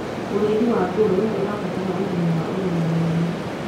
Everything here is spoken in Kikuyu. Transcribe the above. ũrĩithi wa ngurwe ũrabatara umenyo wa urugamiriri